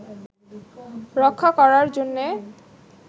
রক্ষা করার জন্যে